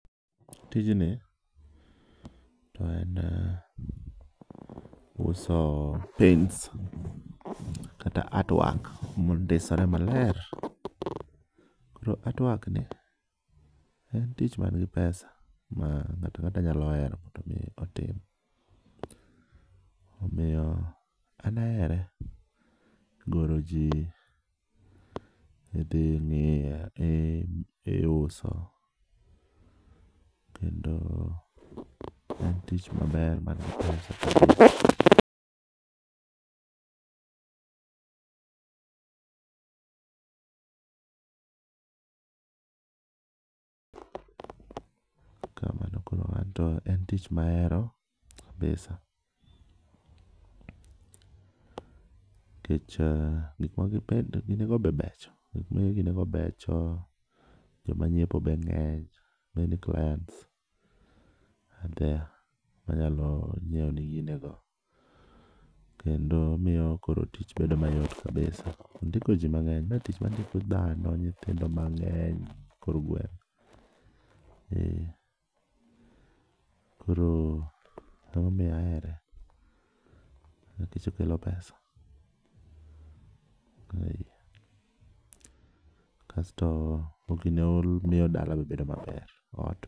Tinji to en uso paints kata art work mondisore maler. Koro art work ni en tich man gi pesa kendo ng'ato ang'ata nyalo hero mondo mi otim. Omiyo an ahere ,goro ji, idhi ing'iyo, idhi iuso kendo en tich maber man gi pesa, kamano, en tich ma ahero kabisa nikech gik ma gin go bende becho gik ma igine go becho joma nyiepo go be ng'eny, many clients are there manyalo nyiewoni gine go kendo miyo koro tich bedo mayot kabisa, ondiko ji mang'eny, mae tich mandiko dhano, nyithindo mang‘eny e kor gweng'. Eh koro ema omiyo ahere, nikech okelo pesa kasto ogine omiyo dala be bedo maber, ot.